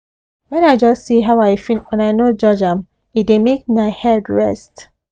when i just see how i feel and i no judge am e dey make my head rest